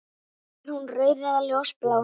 Verður hún rauð eða ljósblá?